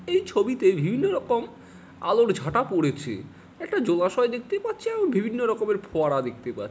এই ছবিতে বিভিন্ন রকম আলোর ছটা পড়েছে। একটা জলাশয় দেখতে পাচ্ছি এবং বিভিন্ন রকমের ফোয়ারা দেখতে পাচ্--